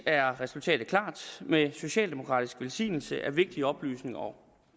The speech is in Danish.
er resultatet klart med socialdemokratisk velsignelse er vigtige oplysninger om og